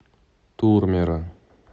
турмеро